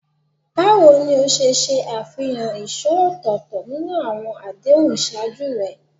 Báwo ni o ṣe ṣe àfihàn ìṣó ọ̀tọ̀ọ̀tọ̀ nínú àwọn àdéhùn ìṣáájú rẹ?